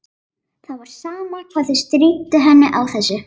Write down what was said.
Það var sama hvað þau stríddu henni á þessu.